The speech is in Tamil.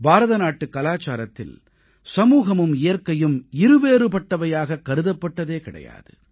பாரத நாட்டுக் கலாச்சாரத்தில் சமூகமும் இயற்கையும் இருவேறுபட்டவையாகக் கருதப்பட்டதே கிடையாது